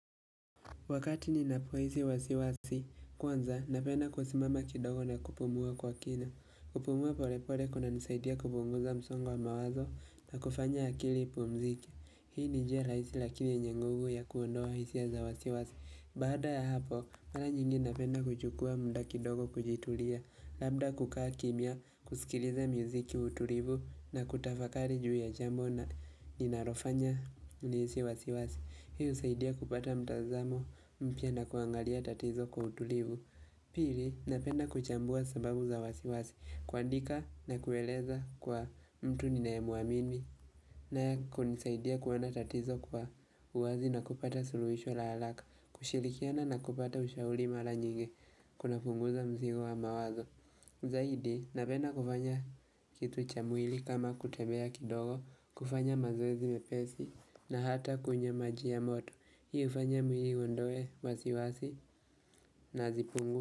Wakati ninapo hisi wasiwasi, kwanza napenda kusimama kidogo na kupumua kwa kina. Kupumua pole pole kunanisaidia kupunguza msongo wa mawazo na kufanya akili ipumzike. Hii ni njia rahisi lakini yanye nguvu ya kuondoa hisia za wasiwasi. Baada ya hapo, mara nyingi napenda kuchukua muda kidogo kujitulia. Labda kukaa kimia, kusikiliza mziki ya utulivu na kutafakari juu ya jambo na ninalofanya nihisi wasiwasi. Hii husaidia kupata mtazamo mpya na kuangalia tatizo kwa utulivu Pili napenda kuchambua sababu za wasiwasi kuandika na kueleza kwa mtu ninaye mwamini naye kunisaidia kuona tatizo kwa uwazi na kupata suluhisho la haraka kushirikiana na kupata ushauri mara nyingi Kunapunguza mzigo wa mawazo Zaidi napenda kufanya kitu cha mwili kama kutembea kidogo kufanya mazoezi mepesi na hata kunywa maji ya moto Hii hufanya mwili uondoe wasiwasi na zipungu.